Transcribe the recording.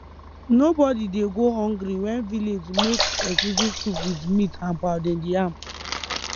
nobody dey go hungry wen village make egusi soup with meat and pounded yam